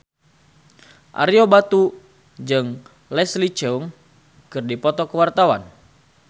Ario Batu jeung Leslie Cheung keur dipoto ku wartawan